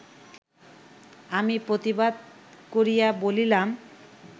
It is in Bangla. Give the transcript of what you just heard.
আমি প্রতিবাদ করিয়া বলিলাম